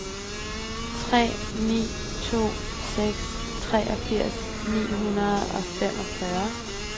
tre ni to seks treogfirs ni hundrede og femogfyrre